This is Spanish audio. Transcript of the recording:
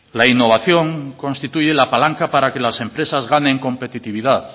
la innovación constituye la palanca para que las empresas ganen competitividad